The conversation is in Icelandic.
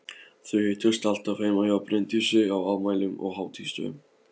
Þau hittust alltaf heima hjá Bryndísi á afmælum og hátíðisdögum.